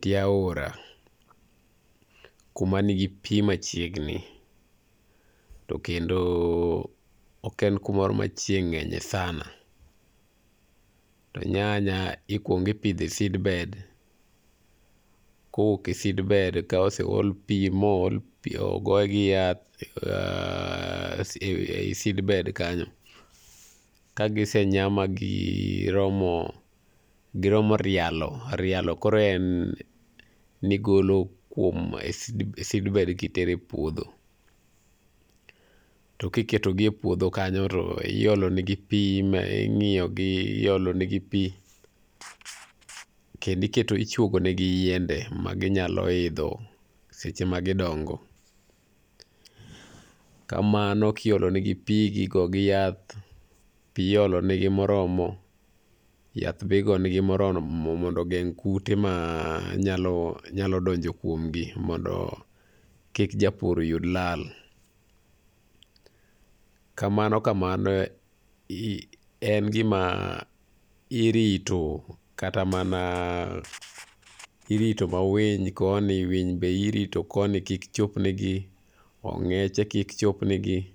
tie aora kuma nigi pi machiegni to kendo ok en kumoro ma chieng' ng'enyie sana. To nyanya ikuongo iidho e seedbed kowuok e seedbed ka oseol pi ma ool pi mo goye gi yath e seedbed kanyo, kagise nya magiromo giromo rialo rialo. Rialo koro en golo ee seedbed ka itero e puodho. To kiketogi e puodho kanyo to iolo negi pi kendo ichuogo negi yiende maginyalo idho seche ma gidongo. Kamano ka iolo negi pi to ionegi yath, pi iolo negi moromo yath bende igo negi moromo mondo ogeng' kute, kute manyalo nyao donjo kuom gi mondo kik japur yud lal. Kamano kamano en gima irito kata mana , irito ma winy koni winy be irito koni kik chop negi, ong'eche kik chop negi.